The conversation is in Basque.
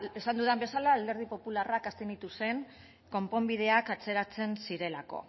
esan dudan bezala alderdi popularrak abstenitu zen konponbideak atzeratzen zirelako